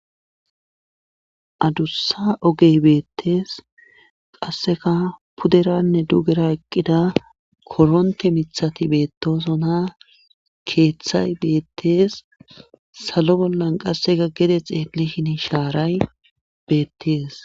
adussa ogey beettes qassika puderanne dugera eqqida koronthe mithati beettoosona keethay beethes salo bollan qassika gede xeellishini shaaray beettees.